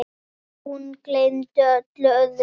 Og hún gleymdi öllu öðru.